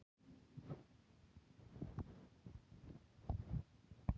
Sigurður, er bolti á sunnudaginn?